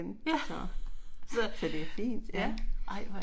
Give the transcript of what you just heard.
Så, så det er fint ja